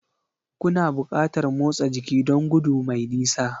Kuna buƙatar motsa jiki don gudu mai nisa